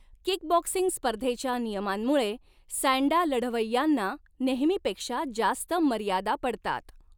Kickboxing स्पर्धेच्या नियमांमुळे, sanda लढवय्यांना नेहमीपेक्षा जास्त मर्यादा पडतात.